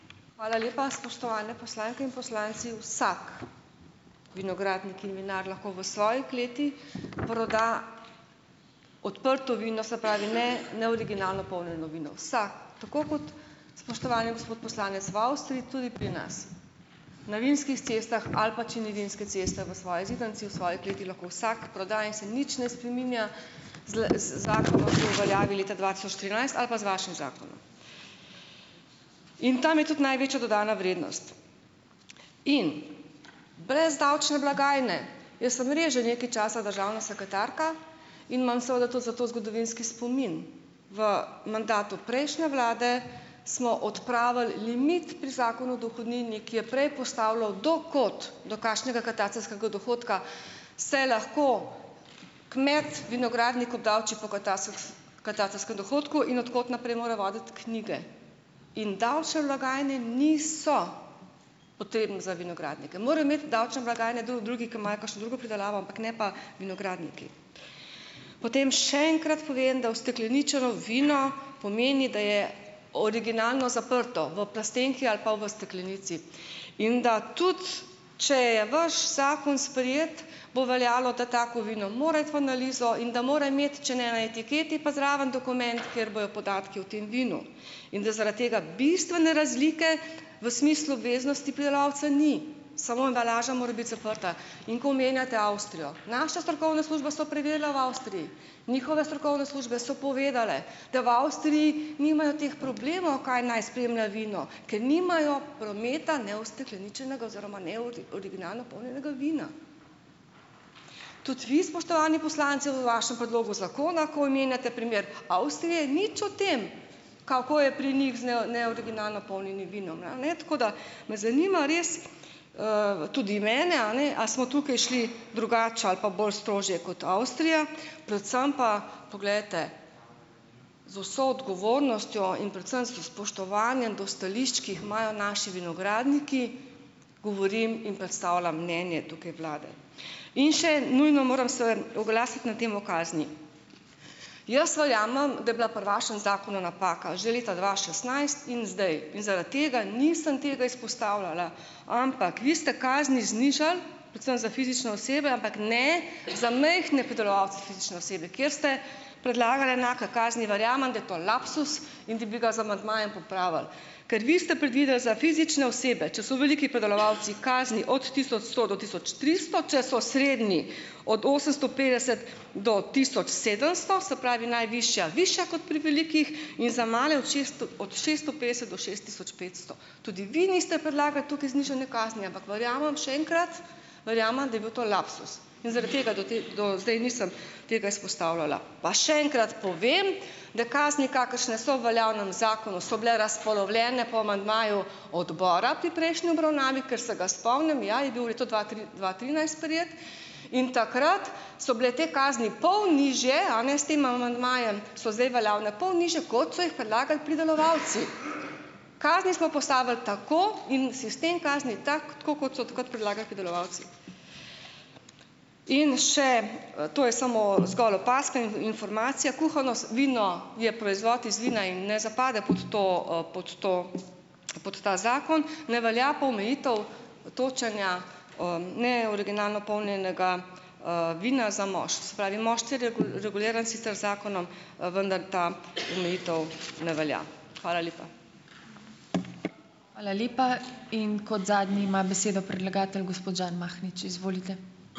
Hvala lepa. Spoštovane poslanke in poslanci! Vsak vinogradnik in vinar lahko v svoji kleti proda odprto vino, se pravi, ne, ne, originalno polnjeno vino, vsak, tako kot, spoštovani gospod poslanec, v Avstriji tudi pri nas, na vinskih cestah, ali pa če ni vinske ceste v svoji zidanici, v svoji kleti lahko vsak proda in se nič ne spreminja z le z zakonom, ki je v veljavi leta dva tisoč trinajst ali pa z vašim zakonom. In tam je tudi največja dodana vrednost. In brez davčne blagajne, jaz sem res že nekaj časa državna sekretarka in imam seveda tudi zato zgodovinski spomin. V mandatu prejšnje vlade smo odpravili limit pri zakonu dohodnini, ki je prej postavljal do kod, do kakšnega katastrskega dohodka se lahko kmet vinogradnik obdavči po katastrskem dohodku in od kod naprej mora voditi knjige. In davčne blagajne niso potrebne za vinogradnike. Morajo imeti davčne blagajne drugi, ki imajo kakšno drugo pridelavo, ampak ne pa vinogradniki. Potem še enkrat povem, da ustekleničeno vino pomeni, da je originalno zaprto v plastenki ali pa v steklenici. In da tudi če je vaš zakon sprejet, bo veljalo, da tako vino mora iti v analizo in da mora imeti, če ne na etiketi, pa zraven dokument, kjer bojo podatki o tem vinu. In da zaradi tega bistvene razlike v smislu obveznosti pridelovalca ni, samo embalaža mora biti zaprta. In ko omenjate Avstrijo, naše strokovne službe so preverile v Avstriji, njihove strokovne službe so povedale, da v Avstriji nimajo teh problemov, kaj naj spremlja vino, ker nimajo prometa neustekleničenega oziroma originalno polnjenega vina. Tudi vi, spoštovani poslanci, v vašem predlogu zakona, ko omenjate primer Avstrije, nič o tem, kako je pri njih z neoriginalno polnjenim vinom, ra, ne, tako da ... Me zanima res, v tudi mene, a ne, a smo tukaj šli drugače ali pa bolj strožje kot Avstrija, predvsem pa, poglejte, z vso odgovornostjo in predvsem s spoštovanjem do stališč, ki jih imajo naši vinogradniki, govorim in predstavljam mnenje tukaj vlade. In še nujno moram se oglasiti na temo kazni. Jaz verjamem, da je bila pri vašem zakonu napaka že leta dva šestnajst in zdaj in zaradi tega nisem tega izpostavljala, ampak vi ste kazni znižali, predvsem za fizične osebe, ampak ne za majhne pridelovalce, fizične osebe, kjer ste predlagal enake kazni. Verjamem, da je to lapsus in da bi ga z amandmajem popravili. Kar vi ste predvideli za fizične osebe, če so veliki pridelovalci, kazni od tisoč sto do tisoč tristo, če so srednji, od osemsto petdeset do tisoč sedemsto, se pravi najvišja višja kot pri velikih in za male od šeststo, od šeststo petdeset do šest tisoč petsto. Tudi vi niste predlagali tukaj znižanja kazni, ampak verjamem, še enkrat, verjamem, da je bil to lapsus. In zaradi tega do te, do zdaj nisem tega izpostavljala. Pa še enkrat povem, da kazni, kakršne so v veljavnem zakonu, so bile razpolovljene po amandmaju odbora pri prejšnji obravnavi, ker se ga spomnim, ja, je bil v letu dva tri, dva trinajst sprejet. In takrat so bile te kazni pol nižje, a ne, s tem amandmajem so zdaj veljavne pol nižje, kot so jih predlagali pridelovalci. Kazni smo postavili tako in sistem kazni je tak, tako kot so takrat predlagali pridelovalci. In še ... To je samo zgolj opazka in informacija. Kuhano s vino je proizvod iz vina in ne zapade pod to, pod to, pod ta zakon. Ne velja pa omejitev točenja, neoriginalno polnjenega, vina za mošt. Se pravi, mošt je reguliran sicer z zakonom, vendar ta omejitev ne velja. Hvala lepa.